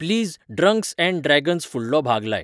please drunks and dragons फुडलो भाग लाय